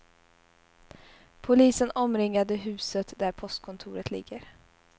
Polisen omringade huset där postkontoret ligger.